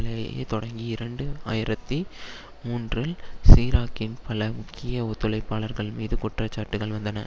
லேயே தொடங்கி இரண்டு ஆயிரத்தி மூன்றில் சிராக்கின் பல முக்கிய ஒத்துழைப்பாளர்கள் மீது குற்ற சாட்டுக்கள் வந்தன